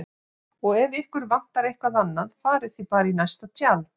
Og ef ykkur vantar eitthvað annað farið þið bara í næsta tjald